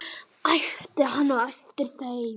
æpti hann á eftir þeim.